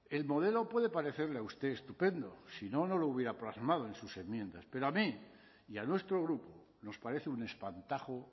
el modelo puede parecerle a usted estupendo si no no lo hubiera plasmado en sus enmiendas pero a mí y a nuestro grupo nos parece un espantajo